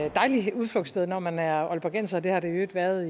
et dejligt udflugtssted når man er aalborgenser det har det i øvrigt været